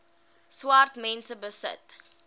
swart mense besit